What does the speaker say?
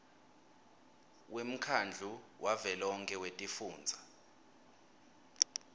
wemkhandlu wavelonkhe wetifundza